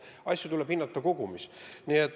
Asju tuleb hinnata kogumis.